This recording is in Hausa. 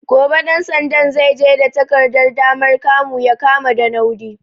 Gobe ɗan sandan zai je da takardar damar kamu ya kama Ɗanaudi.